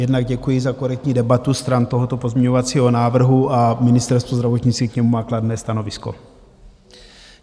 Jednak děkuji za korektní debatu stran tohoto pozměňovacího návrhu a Ministerstvo zdravotnictví k němu má kladné stanovisko.